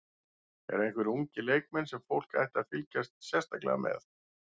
Eru einhverjir ungir leikmenn sem fólk ætti að fylgjast sérstaklega með?